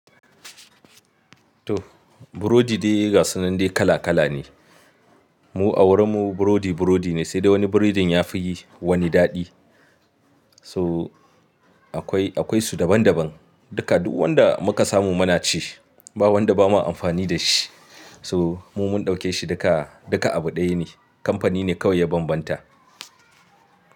To burodi dai gasunan dai kala kala ne. Mu a wurin mu burodi burodi ne sai dai wani burodin ya fi wani daɗi. So akwai, akwai su daban daban. Duka duk wanda muka samu muna ci. Ba wanda ba ma amfani da shi. So mu mun ɗauke shi duka, duka abu ɗaya ne. Kamfani ne kawai ya bambanta.